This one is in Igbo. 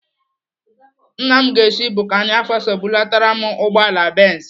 Nna m ga-esi Burkina Faso bulatara m ugbọala Benz.